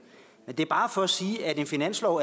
er bare for at sige at en finanslov